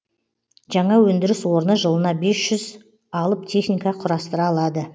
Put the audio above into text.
жаңа өндіріс орны жылына бес жүз алып техника құрастыра алады